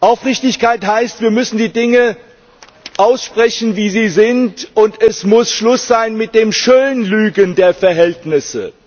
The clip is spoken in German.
Aufrichtigkeit heißt, wir müssen die Dinge aussprechen, wie sie sind, und es muss Schluss sein mit dem Schönlügen der Verhältnisse.